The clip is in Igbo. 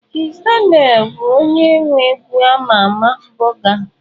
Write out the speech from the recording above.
Kizz Daniel bụ onye nwe egwu a ma ama 'buga'.